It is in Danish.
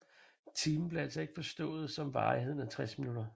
Timen blev altså ikke forstået som varigheden af 60 minutter